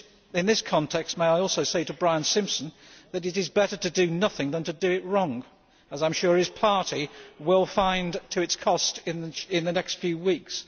In this context, may I also say to Brian Simpson that it is better to do nothing than to do it wrong, as I am sure his party will find to its cost in the next few weeks.